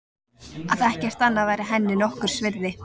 Að ekkert annað væri henni nokkurs virði.